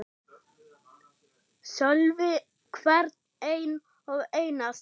Sölvi: Hvern einn og einasta?